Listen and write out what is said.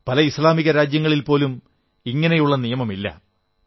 പല ഇസ്ലാമിക രാജ്യങ്ങളിൽ പോലും ഇങ്ങനെയുള്ള നിയമമില്ല